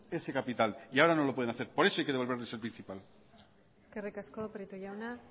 ese capital y ahora no lo pueden hacer por eso hay que devolverles el principal eskerrik asko prieto jauna